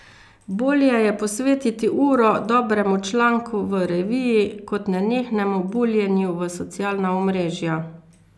Bolje je posvetiti uro dobremu članku v reviji kot nenehnemu buljenju v socialna omrežja.